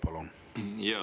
Palun!